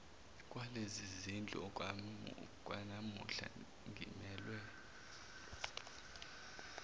kwalezizindlu okwanamuhla ngimelwe